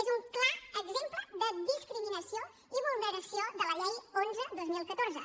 és un clar exemple de discriminació i vulneració de la llei onze dos mil catorze